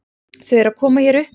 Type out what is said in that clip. Þau eru að koma hér upp.